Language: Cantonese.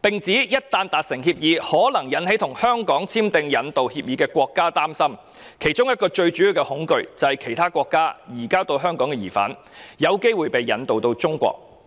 並指一旦達成協議，可能引起與香港簽訂引渡協議的國家擔憂，其中一個最主要的恐懼是從其他國家移交到香港的疑犯，有機會被引渡往中國。